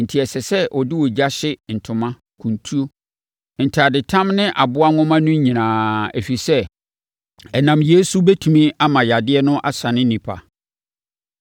enti ɛsɛ sɛ ɔde ogya hye ntoma, kuntu ne ntadetam ne aboa nhoma no nyinaa, ɛfiri sɛ, ɛnam yeinom so bɛtumi ama yadeɛ no asane nnipa.